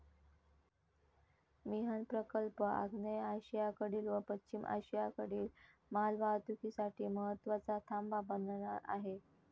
मिहान प्रकल्प आग्नेय आशियाकडील व पश्चिम आशियाकडील मालवाहतुकीसाठी महत्वाचा थांबा बनणार आहे.